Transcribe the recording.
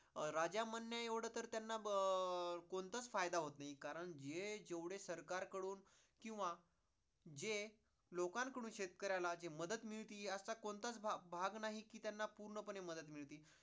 राजा म्हण्या येवढ तर त्यांना अं कोणताच फायदा होत नाही आहे कारण, हे जेवढे सरकार कढून किंवा जे लोकांकडून शेतकऱ्याला जे मदत मिळती असा कोणताच भाग नाही कि त्यांना पूर्णपणे मदत मिळती